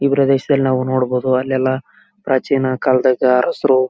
ಈ ಪ್ರದೇಶದಲ್ಲಿ ನಾವು ನೋಡಬಹುದು ಅಲ್ಲೆಲ್ಲಾ ಪ್ರಾಚೀನ ಕಾಲ್ದಾಗ ಹಸಿರು--